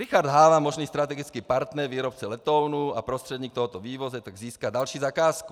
Richard Háva, možný strategický partner výrobce letounů a prostředník tohoto vývozu tak získá další zakázku.